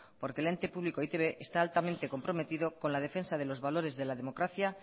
porque el ente público e i te be está altamente comprometido con la defensa de los valores de la democracia